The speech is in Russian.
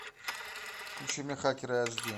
включи мне хакеры аш ди